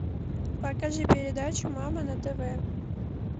покажи передачу мама на тв